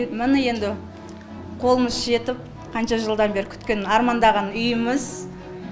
міне енді қолымыз жетіп қанша жылдан бері күткен армандаған үйіміз